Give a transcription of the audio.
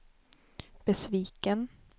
besviken